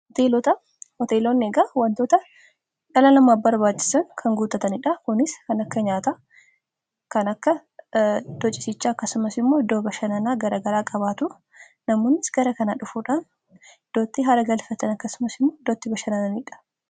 Hoteelota hoteeloonni eegaa wantoota dhala namaaf barbaachisan kan guuttataniidha, kunis kan akka nyaata kan akka iddoo ciisichaa akkasumas immoo iddoo bashannanaa garagaraa qabaatu namoonis gara kanaa dhufuudhaan iddootti haara galfatani akkasumas immoo iddootti bashannananiidha.